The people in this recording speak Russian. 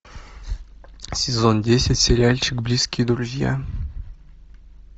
сезон десять сериальчик близкие друзья